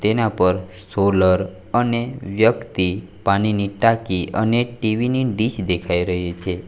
તેના પર સોલર અને વ્યક્તિ પાણીની ટાંકી અને ટી_વી ની ડીશ દેખાઈ રહી છે.